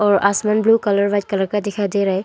और आसमान blue colour white colour का दिखाई दे रहा है।